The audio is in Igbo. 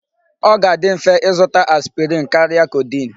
Ọ ga-adi mfe ịzụta aspirin karịa codeine.